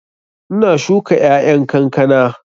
Ina shuka ƴaƴan kankana